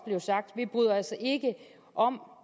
sagt vi bryder os ikke om